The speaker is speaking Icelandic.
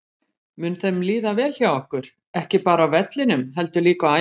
Mun þeim líða vel hjá okkur, ekki bara á vellinum heldur líka á æfingasvæðinu?